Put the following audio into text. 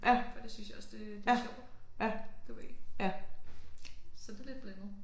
For det synes jeg også det det sjovt du ved så det lidt blandet